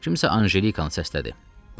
Kimsə Anjelikanı səslədi.